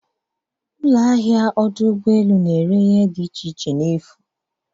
Ụlọ ahịa ọdụ ụgbọ elu na-ere ihe dị iche iche anaghị akwụ ụgwọ.